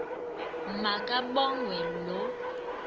ma kabongwe low